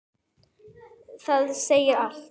Það segir allt.